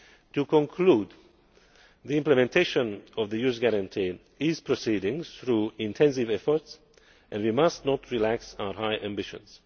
To conclude, the implementation of the Youth Guarantee is proceeding through intensive efforts and we must not relax our high ambitions.